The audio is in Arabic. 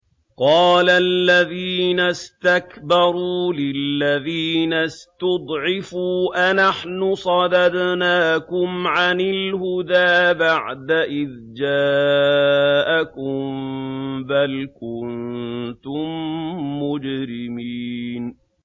قَالَ الَّذِينَ اسْتَكْبَرُوا لِلَّذِينَ اسْتُضْعِفُوا أَنَحْنُ صَدَدْنَاكُمْ عَنِ الْهُدَىٰ بَعْدَ إِذْ جَاءَكُم ۖ بَلْ كُنتُم مُّجْرِمِينَ